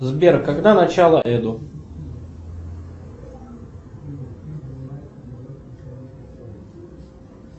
сбер когда начало эду